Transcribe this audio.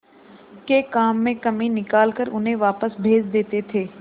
के काम में कमी निकाल कर उन्हें वापस भेज देते थे